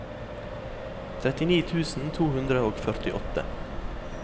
trettini tusen to hundre og førtiåtte